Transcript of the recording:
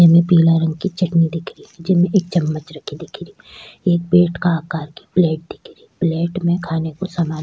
इमे पीला रंग की चटनी दिख रही जेमे एक चमच रखे दिख रही एक पेट के आकार की प्लेट दिखरी प्लेट में खाने काे सामान --